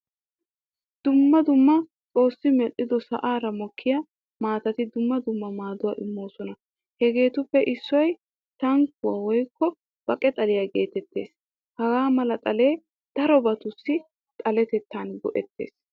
Dumma dumma xoossi medhdhido sa'aara mookiyaa maatati dumma dumma maaduwaa immososna. Hagettuppee issoy tungguwaa woykko baqe xaliya geetettees. Haga mala xale darobatussi xalettan go'ees.